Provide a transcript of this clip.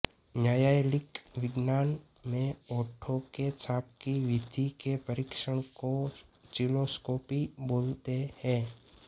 न्यायालयिक विज्ञानं में होंठो के छाप की विधि के परीक्षण को चिलोस्कोपी बोलते हैं